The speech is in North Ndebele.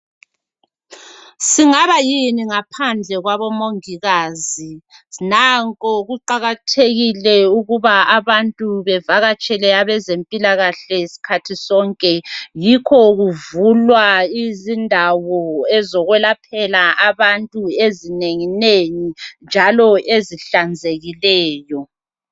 Singabayini ngaphandle kwabomongikazi , nankoe kuqakathekile ukuba abantu bavakatshele ezempilakahle skhathi sonke , yikho kuvulwa izindawo ezokwelaphela abantu ezinenginengi njalo ezihlanzekileyo